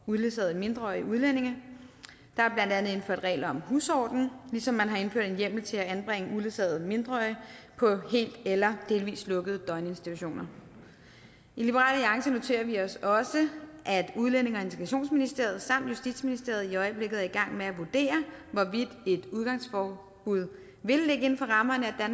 uledsagede mindreårige udlændinge der er blandt andet indført regler om husorden ligesom man har indført en hjemmel til at anbringe uledsagede mindreårige på helt eller delvis lukkede døgninstitutioner i liberal alliance noterer vi os også at udlændinge og integrationsministeriet samt justitsministeriet i øjeblikket er i gang med at vurdere hvorvidt et udgangsforbud vil ligge inden for rammerne af